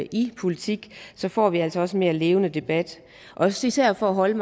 i politik får vi altså også en mere levende debat også især for at holde